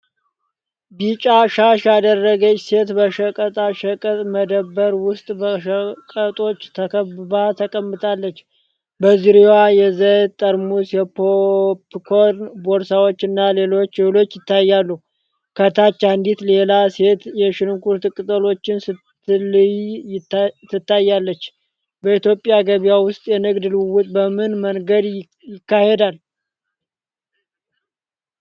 ቢጫ ሻሽ ያደረገች ሴት በሸቀጣሸቀጥ መደብር ውስጥ በሸቀጦች ተከብባ ተቀምጣለች። በዙሪያዋ የዘይት ጠርሙስ፣ የፖፕኮርን ቦርሳዎች እና ሌሎች እህሎች ይታያሉ። ከታች አንዲት ሌላ ሴት የሽንኩርት ቅጠሎችን ስትለይ ትታያለች። በኢትዮጵያ ገበያ ውስጥ የንግድ ልውውጥ በምን መንገድ ይካሄዳል?